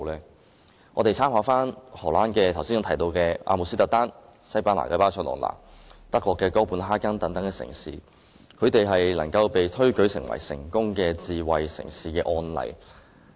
讓我們參考我剛才提到的荷蘭阿姆斯特丹、西班牙巴塞隆那、丹麥哥本哈根等城市，它們都被推舉為成功的智慧城市的示範。